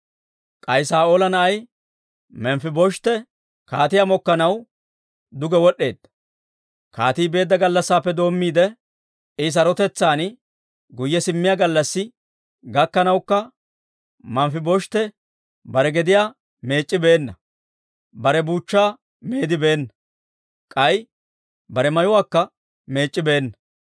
K'ay Saa'oola na'ay Manfibosheete kaatiyaa mokkanaw duge wod'd'eedda. Kaatii beedda gallassaappe doommiide, I sarotetsaan guyye simmiyaa gallassi gakkanawukka, Manfibosheete bare gediyaa meec'c'ibeenna; bare buuchchaa meedibeenna; k'ay bare mayuwaakka meec'c'ibeenna.